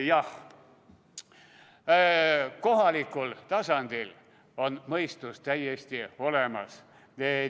Jah, kohalikul tasandil on mõistus täiesti olemas.